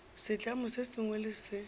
setlamo se sengwe le se